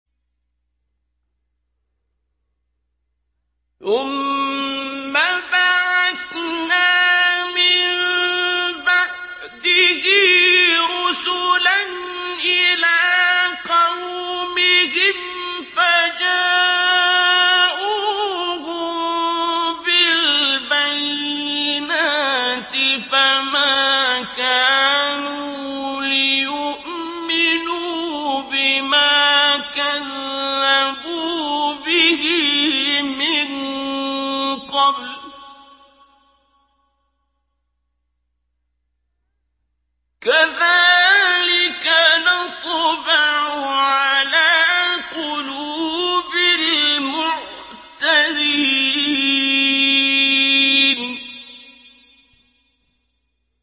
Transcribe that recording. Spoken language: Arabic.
ثُمَّ بَعَثْنَا مِن بَعْدِهِ رُسُلًا إِلَىٰ قَوْمِهِمْ فَجَاءُوهُم بِالْبَيِّنَاتِ فَمَا كَانُوا لِيُؤْمِنُوا بِمَا كَذَّبُوا بِهِ مِن قَبْلُ ۚ كَذَٰلِكَ نَطْبَعُ عَلَىٰ قُلُوبِ الْمُعْتَدِينَ